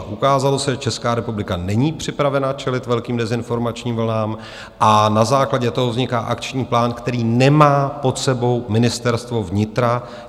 Ukázalo se, že Česká republika není připravena čelit velkým dezinformačním vlnám a na základě toho vzniká akční plán, který nemá pod sebou Ministerstvo vnitra.